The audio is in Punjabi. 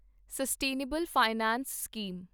sustainable finance scheme